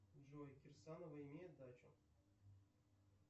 джой кирсанова имеет дачу